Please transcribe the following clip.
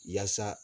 Yaasa